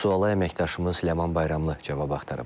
Suala əməkdaşımız Ləman Bayramlı cavab axtarıb.